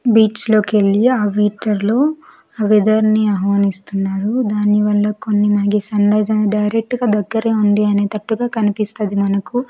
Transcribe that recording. Beach లో కెళ్ళి ఆ వీచర్ లో ఆ వెదర్ ని ఆహ్వానిస్తున్నారు దానివల్ల కొన్ని మనకి సన్ రైస్ అనేది డైరెక్ట్ గా దగ్గరే ఉంది అనేటట్టుగా కనిపిస్తది మనకు.